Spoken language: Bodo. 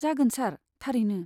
जागोन सार, थारैनो।